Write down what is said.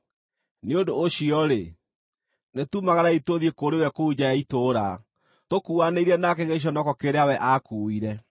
Nĩ ũndũ ũcio-rĩ, nĩtumagarei tũthiĩ kũrĩ we kũu nja ya itũũra, tũkuuanĩire nake gĩconoko kĩrĩa we aakuuire.